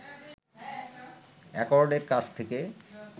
অ্যাকর্ডের কাছ থেকে